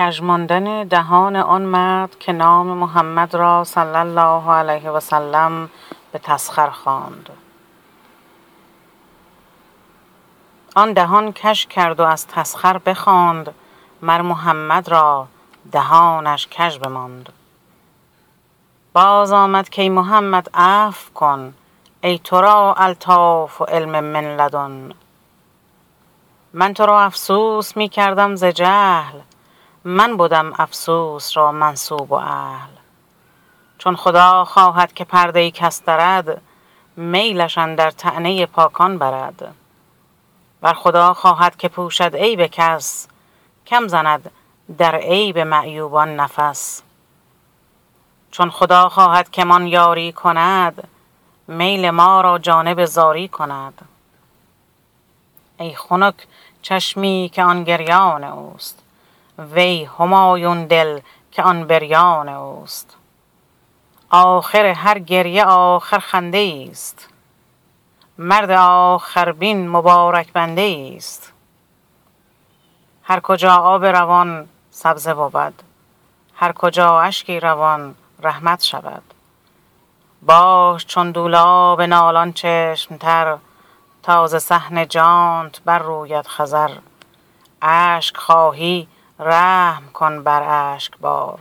آن دهان کژ کرد و از تسخر بخواند مر محمد را دهانش کژ بماند باز آمد کای محمد عفو کن ای ترا الطاف و علم من لدن من ترا افسوس می کردم ز جهل من بدم افسوس را منسوب و اهل چون خدا خواهد که پرده کس درد میلش اندر طعنه پاکان برد ور خدا خواهد که پوشد عیب کس کم زند در عیب معیوبان نفس چون خدا خواهد که مان یاری کند میل ما را جانب زاری کند ای خنک چشمی که آن گریان اوست وی همایون دل که آن بریان اوست آخر هر گریه آخر خنده ایست مرد آخر بین مبارک بنده ایست هر کجا آب روان سبزه بود هر کجا اشکی روان رحمت شود باش چون دولاب نالان چشم تر تا ز صحن جانت بر روید خضر اشک خواهی رحم کن بر اشک بار